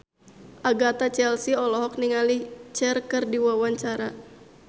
Agatha Chelsea olohok ningali Cher keur diwawancara